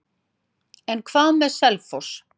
En hvað með Selfoss?